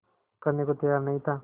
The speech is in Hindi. करने को तैयार नहीं था